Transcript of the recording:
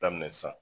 Daminɛ sisan